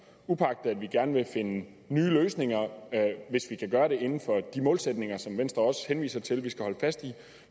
uagtet at vi gerne vil finde nye løsninger hvis vi kan gøre det inden for de målsætninger som venstre også henviser til at vi skal holde fast i